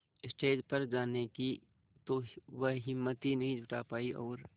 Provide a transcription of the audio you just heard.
stage पर जाने की तो वह हिम्मत ही नहीं जुटा पाई और